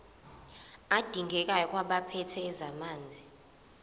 adingekayo kwabaphethe ezamanzi